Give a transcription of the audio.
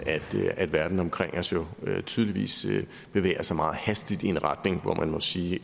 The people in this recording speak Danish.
at verden omkring os tydeligvis bevæger sig meget hastigt i en retning hvor man må sige